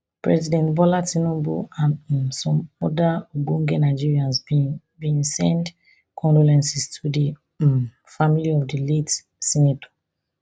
president bola tinubu and um some oda ogbonge nigerians bin bin send condolences to di um family of di late senator